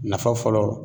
Nafa fɔlɔ